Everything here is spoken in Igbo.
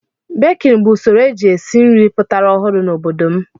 Bekin bụ usoro e ji esi nri pụtara ọhụrụ n'obodo m.